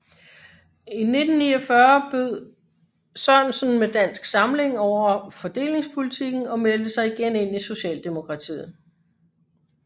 I 1949 brød Sørensen med Dansk Samling over fordelingspolitikken og meldte sig igen ind i Socialdemokratiet